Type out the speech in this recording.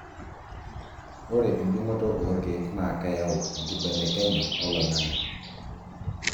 ore endung'oto olkeek naa keyau enkibelekenya oloing'ang'e